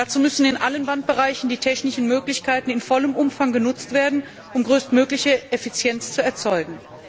Dazu müssen in allen Bandbereichen die technischen Möglichkeiten in vollem Umfang genutzt werden, um größtmögliche Effizienz zu erzielen.